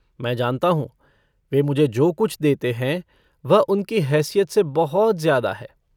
मैं जानता हूँ वे मुझे जो कुछ देते हैं वह उनकी हैसियत से बहुत ज़्यादा है।